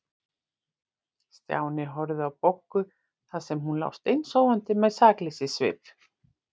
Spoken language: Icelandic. Stjáni horfði á Boggu þar sem hún lá steinsofandi með sakleysissvip.